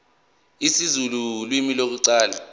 isizulu ulimi lokuqala